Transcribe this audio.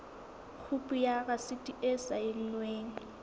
khopi ya rasiti e saennweng